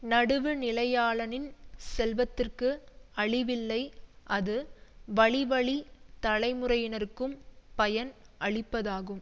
நடுவுநிலையாளனின் செல்வத்திற்கு அழிவில்லை அது வழிவழித் தலைமுறையினர்க்கும் பயன் அளிப்பதாகும்